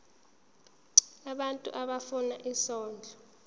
abantu abafuna isondlo